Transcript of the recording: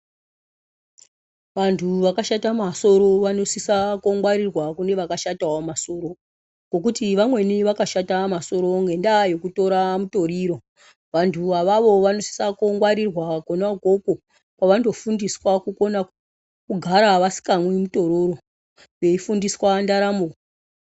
Vantu vakashata masoro vanofanira kungwarirwawo neantu akashatawo masoro nekuti vamweni vakashata masoro nekutora mutoriro vantu avavo vanosise kungwarirwa kwavanofanira kugara vasikamwi mutoriro veifundiswa ndaramo.